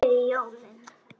Takk fyrir jólin.